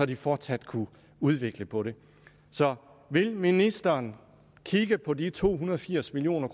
de fortsat kunne udvikle på det så vil ministeren kigge på de to hundrede og firs million